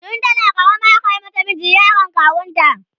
tun tana karama aka mata miji, yaron kawunta